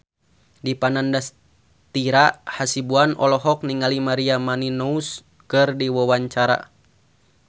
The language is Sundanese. Dipa Nandastyra Hasibuan olohok ningali Maria Menounos keur diwawancara